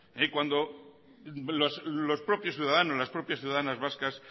cuando los propios ciudadanos las propias ciudadanas vascas